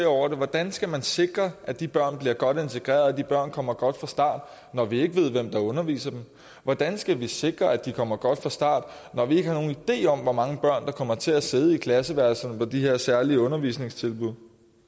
over det hvordan skal man sikre at de børn bliver godt integreret og at de børn kommer godt fra start når vi ikke ved hvem der underviser dem hvordan skal vi sikre at de kommer godt fra start når vi ikke har nogen idé om hvor mange børn der kommer til at sidde i klasseværelserne med de her særlige undervisningstilbud